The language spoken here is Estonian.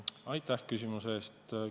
Aitäh küsimuse eest!